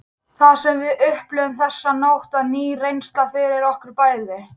Það sem við upplifðum þessa nótt var ný reynsla fyrir okkur bæði.